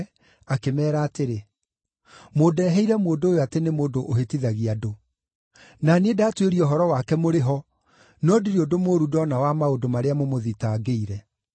akĩmeera atĩrĩ, “Mũndeheire mũndũ ũyũ atĩ nĩ mũndũ ũhĩtithagia andũ. Na niĩ ndatuĩria ũhoro wake mũrĩ ho, no ndirĩ ũndũ mũũru ndoona wa maũndũ marĩa mũmũthitangĩire.